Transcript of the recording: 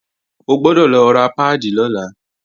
O gbọ́dọ̀ lọ ra páàdì lọ́la!